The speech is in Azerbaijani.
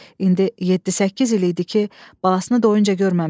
İndi yeddi-səkkiz il idi ki, balasını doyunca görməmişdi.